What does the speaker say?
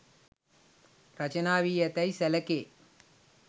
රචනා වී ඇතැයි සැලකේ.